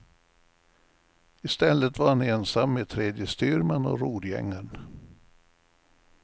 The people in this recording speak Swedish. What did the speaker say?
I stället var han ensam med tredje styrman och rorgängaren.